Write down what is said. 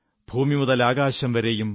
ഭൂമിമുതലാകാശം വരെയും